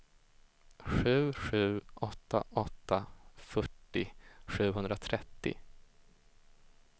sju sju åtta åtta fyrtio sjuhundratrettio